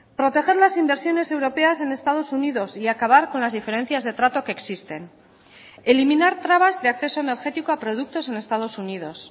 proteger las inversiones europeas en estados unidos y acabar con las diferencias de trato que existen eliminar trabas de acceso energético a productos en estados unidos